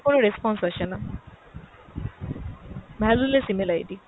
কোন response আসেনা। valueless email ID